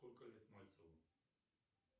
сколько лет мальцеву